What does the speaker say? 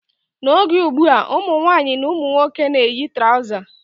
N' oge ugbua, ụmụnwaanyị na ụmụnwoke na-eyi trọza.